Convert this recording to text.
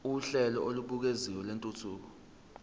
uhlelo olubukeziwe lwentuthuko